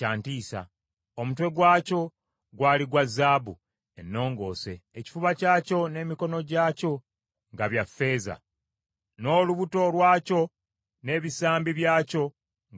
Omutwe gwakyo gwali gwa zaabu ennongoose, ekifuba kyakyo n’emikono gyakyo nga bya ffeeza, n’olubuto lwakyo n’ebisambi byakyo nga bya kikomo,